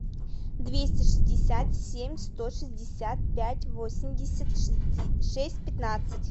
двести шестьдесят семь сто шестьдесят пять восемьдесят шесть пятнадцать